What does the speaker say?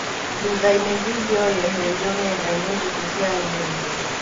Thuthainĩ vindioĩyo yeheririo ng'endainĩ thikũ ciarũmĩrĩire.